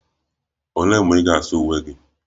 Olee mgbe ị ga-asa uwe gị?